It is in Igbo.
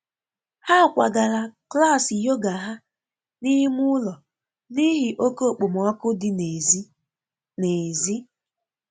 Ha kwagara klas yoga ha n'ime ụlọ n'ihi oke okpomọkụ dị n'èzí. n'èzí.